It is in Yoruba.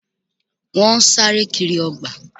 Wọ́n sáré kiri ọgbà